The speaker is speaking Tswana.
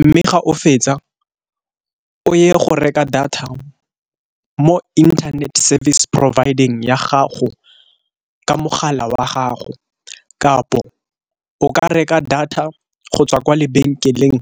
mme ga o fetsa o ye go reka data mo internet service provide-ng ya gago ka mogala wa gago. Kapo o ka reka data go tswa kwa lebenkeleng